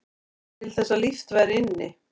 Til þess að líft væri inni